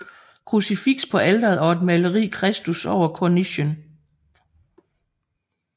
Krucifiks på alteret og et maleri Christus over kornichen